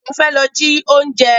Ẹkún fẹ́ lọ ji oúnjẹ.